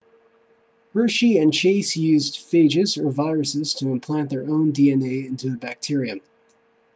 hershey and chase used phages or viruses to implant their own dna into a bacterium